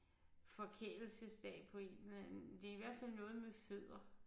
Forkælelsesdag på en eller anden det er i hvert fald noget med fødder